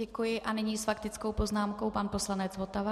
Děkuji, a nyní s faktickou poznámkou pan poslanec Votava.